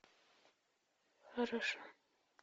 хорошо